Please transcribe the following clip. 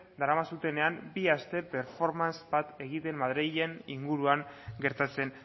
daramazutenean bi aste performance bat egiten madrilen inguruan gertatzen